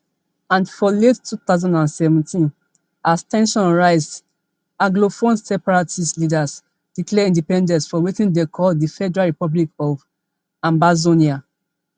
and for late two thousand and seventeen as ten sions rise anglophone separatist leaders declare independence for wetin dem call di federal republic of ambazonia